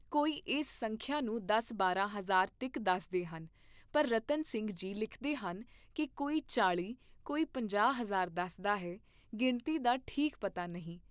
ਕੋਈ ਇਸ ਸੰਖਯਾ ਨੂੰ ਦਸ ਬਾਰਾਂ ਹਜ਼ਾਰ ਤੀਕ ਦੱਸਦੇ ਹਨ, ਪਰ ਰਤਨ ਸਿੰਘ ਜੀ ਲਿਖਦੇ ਹਨ ਕੀ ਕੋਈ ਚਾਲੀ, ਕੋਈ ਪੰਜਾਹ ਹਜ਼ਾਰ ਦੱਸਦਾ ਹੈ, ਗਿਣਤੀ ਦਾ ਠੀਕ ਪਤਾ ਨਹੀਂ।